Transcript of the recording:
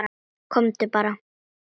Komdu bara.